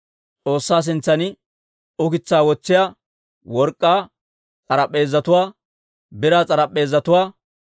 S'oossaa sintsan ukitsaa wotsiyaa work'k'aa s'arp'p'eezatuwaa, biraa s'arp'p'eezatuwaa,